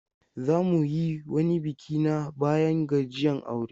Za mu yi wani biki na bayan gajiyan aure.